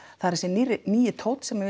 er þessi nýi tónn sem